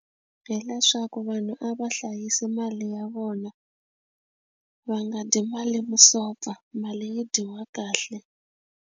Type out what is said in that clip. Hi leswaku vanhu a va hlayisi mali ya vona va nga dyi mali vusopfa mali yi dyiwa kahle.